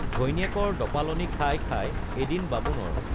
ঘৈণীয়েকৰ দপালনি খাই খাই এদিন বামুণৰ